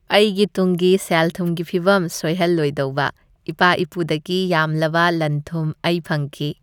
ꯑꯩꯒꯤ ꯇꯨꯡꯒꯤ ꯁꯦꯜ ꯊꯨꯝꯒꯤ ꯐꯤꯚꯝ ꯁꯣꯏꯍꯜꯂꯣꯏꯗꯧꯕ ꯏꯄꯥ ꯏꯄꯨꯗꯒꯤ ꯌꯥꯝꯂꯕ ꯂꯟꯊꯨꯝ ꯑꯩ ꯐꯪꯈꯤ꯫